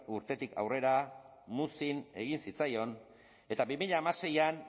urtetik aurrera muzin egin zitzaion eta bi mila hamaseian